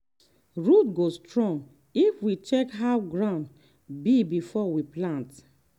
root go strong if we check how ground be before we plant.